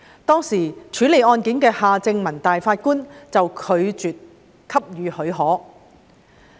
當時處理案件的法官夏正民拒絕給予許可。